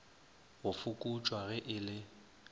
go fokotšwa ge e le